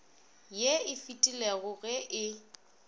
ye e fetilego ge e